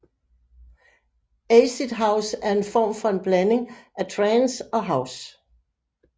Acid house er en form for en blanding af trance og house